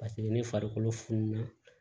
Paseke ne farikolo fununa